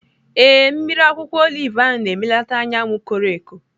Ee, mmiri akwụkwọ olive ahụ na-emelata anya m koro eko.